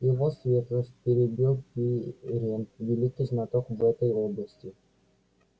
его светлость перебил пиренн великий знаток в этой области